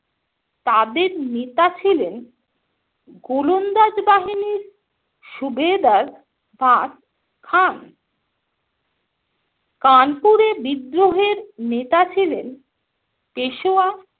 তাদের নেতা ছিলেন গোলন্দাজ বাহিনীর সুবেদার বাত খান। কানপুরে বিদ্রোহের নেতা ছিলেন পেশোয়া